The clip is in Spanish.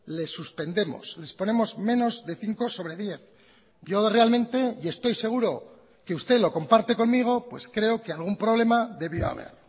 les suspendemos les ponemos menos de cinco sobre diez yo realmente y estoy seguro que usted lo comparte conmigo pues creo que algún problema debió haber